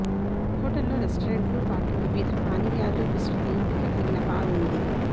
hotel లో రెస్టారెంట్లు పాటు వివిధ పానీయాలు విస్తృత ఎంపిక కలిగిన బార్ ఉంది